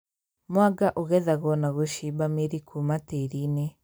Mwanga ũgethagwo na gũcimba mĩri kũma tĩĩri-inĩ